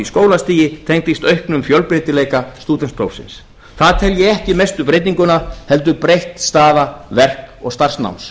skólastigi tengdist auknum fjölbreytileika stúdentsprófsins það tel ég ekki mestu breytinguna heldur breytt staða verk og starfsnáms